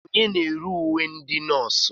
Onye na-ere uwe ndị nọọsụ?